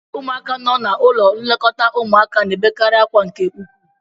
Ụmụaka nọ n'ụlọ nlekọta ụmụaka na-ebekarị akwa nke ukwu